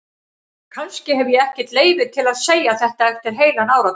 Kannski hef ég ekkert leyfi til að segja þetta eftir heilan áratug.